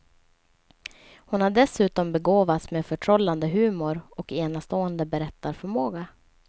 Hon har dessutom begåvats med förtrollande humor och enastående berättarförmåga.